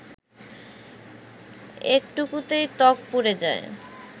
একটুতেই ত্বক পুড়ে যায়